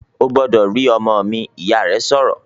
"Ó gbọ́dọ̀ rí ọmọ mi!", Ìyá rẹ̀ sọ̀rọ̀